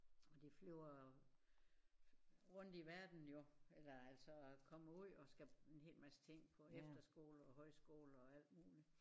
Og de flyver rundt i verden jo eller altså kommer ud og skal en hel masse ting på efterskole og højskole og alt muligt